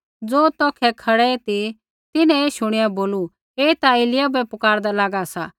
ज़ो तौखै खड़ै ती तिन्हैं ऐ शुणिया बोलू ऐ ता एलिय्याह बै पुकारदा लागा सा